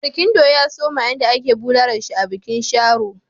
Barkindo ya suma yayin da ake bulala shi a bikin Sharo.